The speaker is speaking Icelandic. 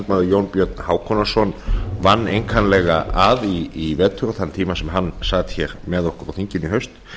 varaþm jón björn hákonarson vann einkanlega að í vetur og þann tíma sem hann sat með okkur á þinginu í haust